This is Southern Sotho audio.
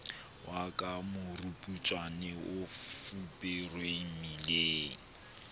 wa karaburetso o fuperweng meleng